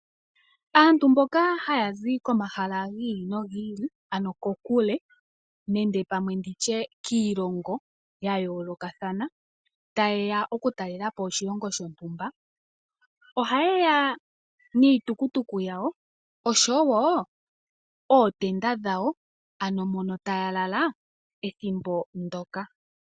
Aantu mboka haya zi komahala gi ili nogi ili ano kokule nenge pamwe nditye kiilongo ya yoolokathana taye ya oku talela po oshilongo shontumba, ohaye ya niitukutuku yawo oshowo ootenda dhawo ano mono taya lala ethimbo ndoka.